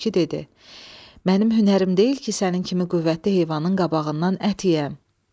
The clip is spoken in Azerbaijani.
Tülkü dedi: Mənim hünərim deyil ki, sənin kimi qüvvətli heyvanın qabağından ət yeyəm.